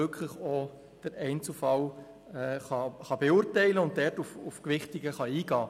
Damit kann man den Einzelfall beurteilen und Gewichtungen vornehmen.